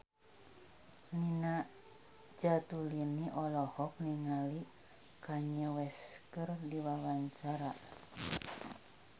Nina Zatulini olohok ningali Kanye West keur diwawancara